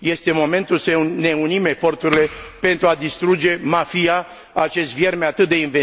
Este momentul să ne unim eforturile pentru a distruge mafia, acest vierme atât de inventiv...